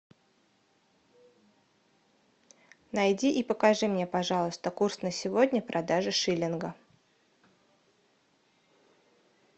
найди и покажи мне пожалуйста курс на сегодня продажи шиллинга